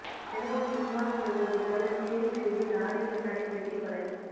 சென்னையில் சினிமாவில் வருவதுபோல சேசிங் செய்து லாரி மெக்கானிக் வெட்டிக் கொலை